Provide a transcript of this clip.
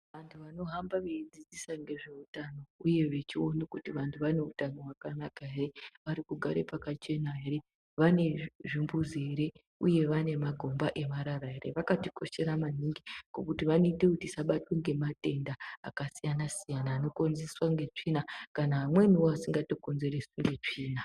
Antu anohamba veidzidzisa ngezveutano uye vechione kuti vantu vane utano hwakanaka ere vari kugare Pakachena ere vane zvi zvimbuzi ere uye vane magomba emarara ere vakatikoshera maningi ngekuti vanoita kuti tisabatwa ngematenda akasiyana siyana anokonzereswa ngetsvina kana amweni asingakonzereswi ngetsvina.